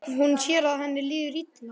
Hún sér að henni líður illa.